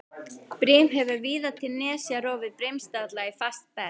Brim hefur víða til nesja rofið brimstalla í fast berg.